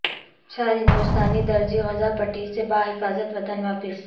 چار ہندوستانی درزی غزہ پٹی سے بحفاظت وطن واپس